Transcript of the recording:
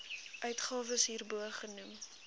uitgawes hierbo genoem